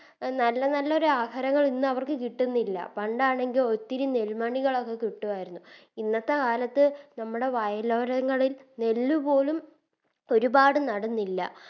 A നല്ല നല്ലൊരു ആഹാരങ്ങൾ ഇന്ന് അവർക്ക് കിട്ടുന്നില്ല പണ്ടാണെങ്കിൽ ഒത്തിരി നെല്മണികളൊക്കെ കിട്ടുവാരുന്നു ഇന്നത്തെ കാലത്ത് നമ്മടെ വയലോരങ്ങളിൽ നെല്ല് പോലും ഒരുപാട് നേടുന്നില്ല